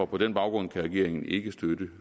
på den baggrund kan regeringen ikke støtte